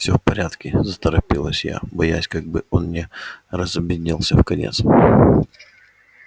всё в порядке заторопилась я боясь как бы он не разобиделся вконец